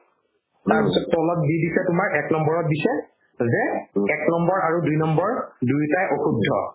তাৰপিছত তলত দি দিছে তোমাৰ এক নম্বৰত দিছে যে এক নম্বৰ আৰু দুই নম্বৰ দুয়োটায়ে অশুদ্ধ